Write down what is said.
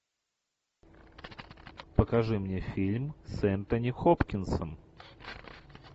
покажи мне фильм с энтони хопкинсом